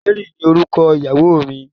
Mary ni orúkọ ìyàwó mi